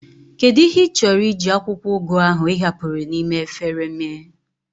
What do you intend to do with the ugu leave you remain in the bowl